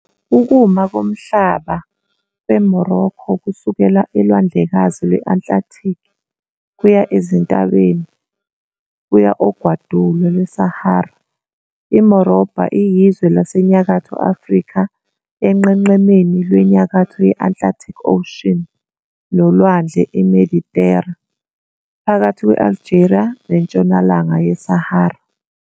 Ukuma komhlaba kweMorocco kusukela eLwandlekazi lwe-Atlantic, kuya ezintabeni, kuya ogwadule lwaseSahara. IMorobha iyizwe laseNyakatho Afrika, enqenqemeni lweNyakatho ye-Atlantic Ocean nolwandle iMedithera, phakathi kwe-Algeria neNtshonalanga yeSahara.